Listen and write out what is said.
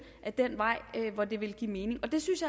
ad den vej hvor det ville give mening og det synes